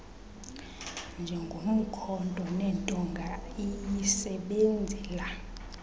njengomkhonto nentonga iyisebenzela